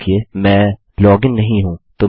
याद रखिये मैं लॉग इन नहीं हूँ